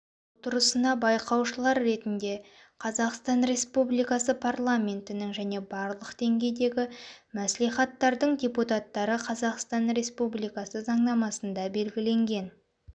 отырысына байқаушылар ретінде қазақстан республикасы парламентінің және барлық деңгейдегі мәслихаттардың депутаттары қазақстан республикасы заңнамасында белгіленген